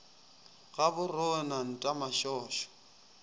ga bo rone nta mašošo